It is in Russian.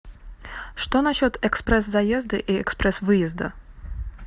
что насчет экспресс заезда и экспресс выезда